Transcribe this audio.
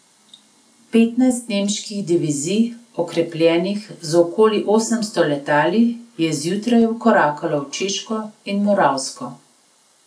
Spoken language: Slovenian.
Petnajst nemških divizij, okrepljenih z okoli osemsto letali, je zjutraj vkorakalo v Češko in Moravsko.